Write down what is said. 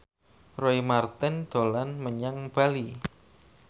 Roy Marten dolan menyang Bali